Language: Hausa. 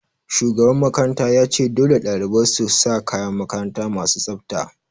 Shugaban makaranta ya ce 'Dole ɗalibai su sa kayan makaranta masu tsafta'!